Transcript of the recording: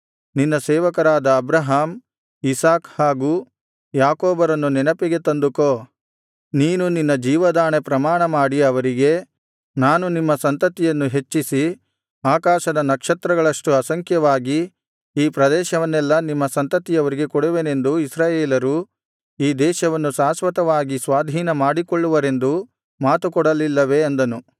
ನಿನ್ನ ಸೇವಕರಾದ Abraham Isaac ಹಾಗು ಯಾಕೋಬರನ್ನು ನೆನಪಿಗೆ ತಂದುಕೋ ನೀನು ನಿನ್ನ ಜೀವದಾಣೆ ಪ್ರಮಾಣ ಮಾಡಿ ಅವರಿಗೆ ನಾನು ನಿಮ್ಮ ಸಂತತಿಯನ್ನು ಹೆಚ್ಚಿಸಿ ಆಕಾಶದ ನಕ್ಷತ್ರಗಳಷ್ಟು ಅಸಂಖ್ಯವಾಗಿ ಈ ಪ್ರದೇಶವನ್ನೆಲ್ಲಾ ನಿಮ್ಮ ಸಂತತಿಯವರಿಗೆ ಕೊಡುವೆನೆಂದೂ ಇಸ್ರಾಯೇಲರು ಈ ದೇಶವನ್ನು ಶಾಶ್ವತವಾಗಿ ಸ್ವಾಧೀನ ಮಾಡಿಕೊಳ್ಳುವರೆಂದೂ ಮಾತುಕೊಡಲಿಲ್ಲವೇ ಅಂದನು